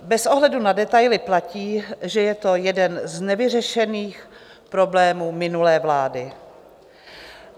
Bez ohledu na detaily platí, že je to jeden z nevyřešených problémů minulé vlády.